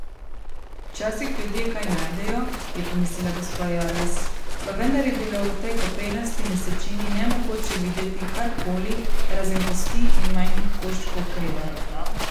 Včasih ljudje kaj najdejo, je pomislila gospa Jarvis, pa vendar je bilo v tej koprenasti mesečini nemogoče videti kar koli razen kosti in majhnih koščkov krede.